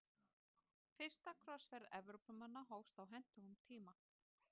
Fyrsta krossferð Evrópumanna hófst á hentugum tíma.